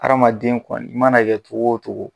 Aramaden kɔni i mana kɛ cogo wo cogo.